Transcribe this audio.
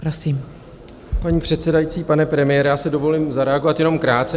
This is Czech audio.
Paní předsedající, pane premiére, já si dovolím zareagovat jenom krátce.